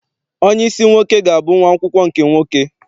Onyeisi nwoke ga-abụ nwa akwụkwọ nke nwoke.